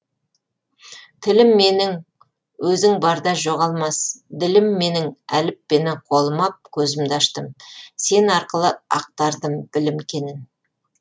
тілім менің өзің барда жоғалмас ділім менің әліппені қолыма ап көзімді аштым сен арқылы ақтардым білім кенін